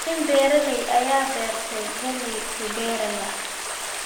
Nin beeraley ah ayaa beerta galley ku beeraya.